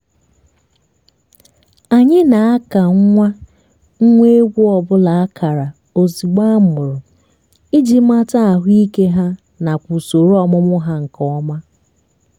anyị na-aka nwa nwa ewu ọbụla akara ozigbo amụrụ iji mata ahụike ha nakwa usoro ọmụmụ há nke ọma